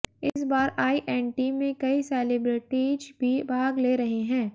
इस बार आईएनटी में कई सेलिब्रेटीज भी भाग ले रहे हैं